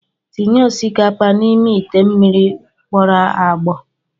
Tinye osikapa n'ime ite mmiri gbọrọ agbọ.